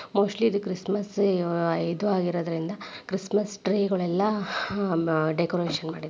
mostly ಇದು Christmas ಇದು ಆಗಿರೋದ್ರಿಂದ ಕ್ರಿಸ್ಮಸ್ ಟ್ರೀ ಗಳೆಲ್ಲ ಡೆಕೋರೇಷನ್ ಮಾಡಿದೆ --